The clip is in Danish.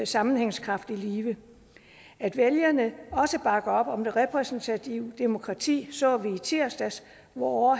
sammenhængskraft i live at vælgerne også bakker op om det repræsentative demokrati så vi i tirsdags hvor